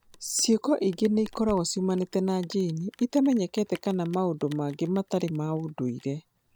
Ciiko ingĩ no ikorũo ciumanĩte na jini itamenyekete kana maũndũ mangĩ matarĩ ma ndũire.